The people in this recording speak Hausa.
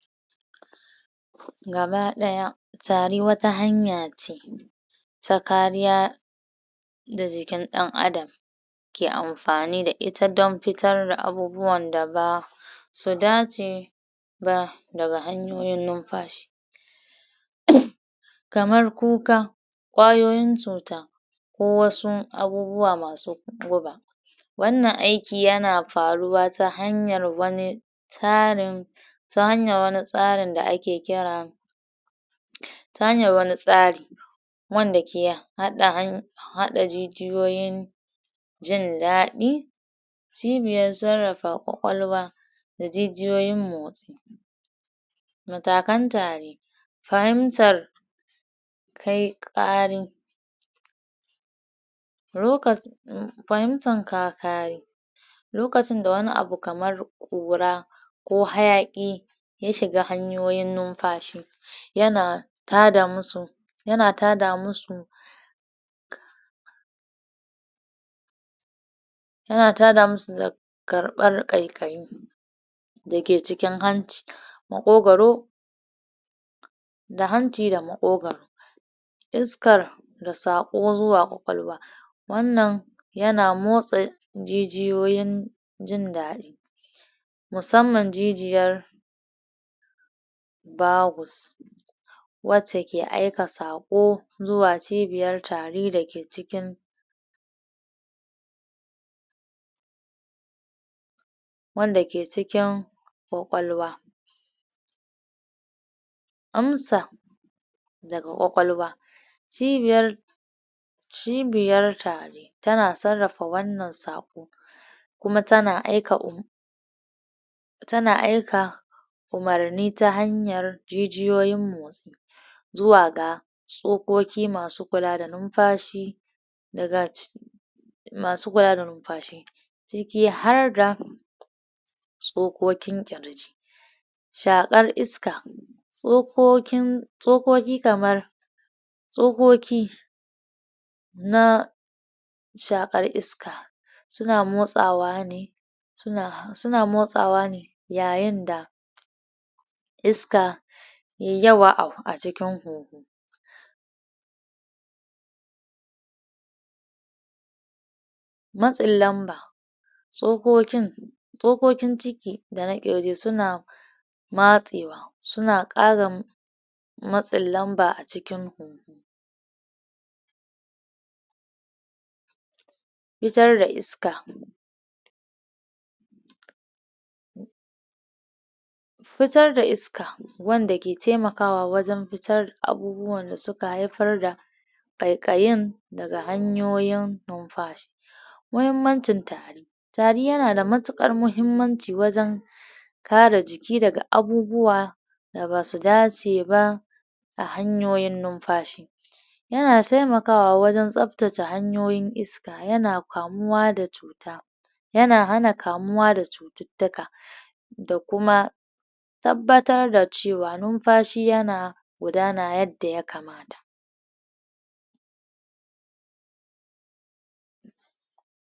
gaba daya tari wata hanyace ta kariya ga ikin dan adam ke anfani da ita dan futar abubuwan da basu dace ba su dace ba daga hanyoyin nunfashi um kamar kuka kwayoyin cuta ko wasu abubuwa masu guba wannan aiki yana faruwa ta hanyar wani tarin ta hanyar wani tsari da ake kira um ta hanyar wani tsari wanda ke hada han hada jijiyoyin in dadi cibiyar sarrafa kwakwalwa da jijiyoyin motsi matakan tare fahimtar kai karin rokas um fahimtar kakari lokacin da wani abu kamar kura ko hayaki ya shiga hanyoyin numfashi yana tada musu yana tada musu yana tada masu da karmar kaikayi da ke cikin hanci makogoro da hanci da makogoro iskar da sako zuwa kwakwalwa wannan yana motsa jijiyoyin jin dadi musamman jijiyar bagus wacce ke aike sako zuwa cibiyar tari da ke cikin wanda ke cikin kwakwalwa amsa daga kwakwalwa cibiyar cibiyar tari tana sarrafa wannan sako kuma tana aika um tana aika umarni ta hanyar jijiyoyin motsi zuwa ga tsokoki masu kula da numfashi daga ci masu kula da numfashi ciki harda tsokokin kirji shakar iska tsokokin tsokoki kamar tsokoki na shakar iska suna motsawa ne suna suna motsawa ne yayin da iska yayi yawa acikin huhu matsin lamba tsokokin tsokokin ciki dana kirji suna matsewa suna kara matsin lamba acikin huhu fitar da iska fitar da iska wanda ke temakawa wajen futar da abubuwan da suka haifar da kaikayin daga hanyoyin numfashi muhimmancin tari tari yana da matukar muhimmanci wajen kare jiki daga abubuwa da basu dace ba a hanyoyin numfashi yana temakawa wajen tsaftace hanyoyin iska yana kamuwa da cuta yana hana kamuwa da cututtuka da kuma tabbatar da cewa numfashi yana gudana yadda ya kamata